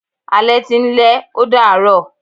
Alẹ́ ti ń lẹ́, ó dàá rọ̀.